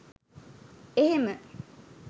එහෙම